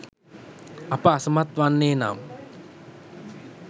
අප අසමත් වන්නේ නම්